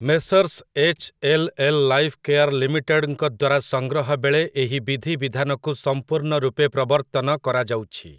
Messrs HLL. Life care ଲିମିଟେଡ୍‌ଙ୍କ ଦ୍ୱାରା ସଂଗ୍ରହ ବେଳେ ଏହି ବିଧିବିଧାନକୁ ସଂପୂର୍ଣ୍ଣ ରୂପେ ପ୍ରବର୍ତ୍ତନ କରାଯାଉଛି ।